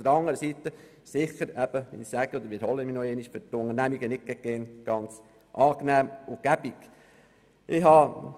Auf der anderen Seite – ich wiederhole mich – dürfte es für die Unternehmungen nicht ganz angenehm und praktisch sein.